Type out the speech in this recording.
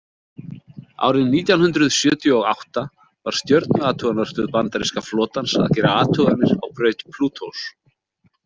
Árið nítján hundrað sjötíu og átta var stjörnuathugunarstöð bandaríska flotans að gera athuganir á braut Plútós.